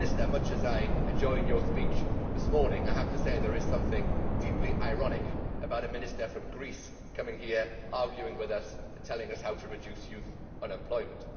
Much as I enjoyed the Minister's speech this morning, I have to say that there is something deeply ironic about a Minister from Greece coming here to argue with us and tell us how to reduce youth unemployment.